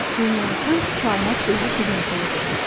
Bunları sanki kainat özü sizin üçün edir.